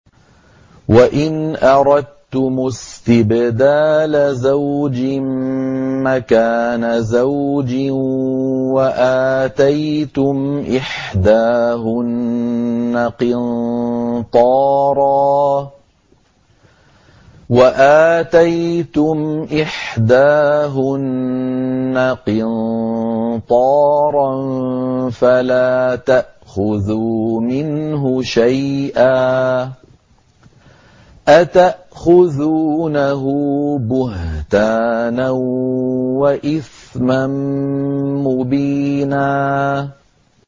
وَإِنْ أَرَدتُّمُ اسْتِبْدَالَ زَوْجٍ مَّكَانَ زَوْجٍ وَآتَيْتُمْ إِحْدَاهُنَّ قِنطَارًا فَلَا تَأْخُذُوا مِنْهُ شَيْئًا ۚ أَتَأْخُذُونَهُ بُهْتَانًا وَإِثْمًا مُّبِينًا